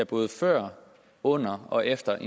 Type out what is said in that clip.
både før under og efter